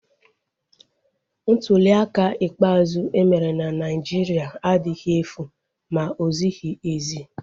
Ntuliaka ikpeazụ emere na Naijiria adịghị efu ma ozighi ezi